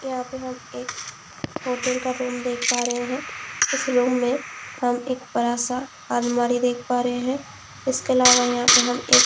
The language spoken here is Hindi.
यहाँ पे हम एक होटल का रूम देख पा रहे हैं इस रूम में हम एक बड़ा सा अलमारी देख पा रहे हैं इसके इलावा यहाँ पे हम एक--